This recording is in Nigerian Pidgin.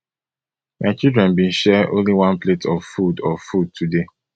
my children bin share only one plate of food of food today